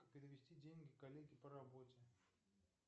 перевести деньги коллеге по работе